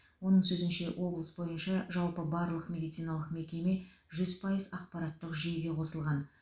оның сөзінше облыс бойынша жалпы барлық медициналық мекеме жүз пайыз ақпараттық жүйеге қосылған